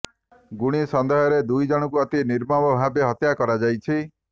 ଗୁଣି ସନ୍ଦେହରେ ଦୁଇ ଜଣଙ୍କୁ ଅତି ନିର୍ମମଭାବେ ହତ୍ୟା କରାଯାଇଛି